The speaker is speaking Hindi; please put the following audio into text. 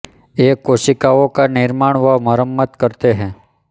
ये कोशिकाओं का निर्माण व मरम्मत करते हैं